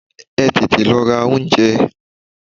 Ẹ tètè lọ ra oúnjẹ!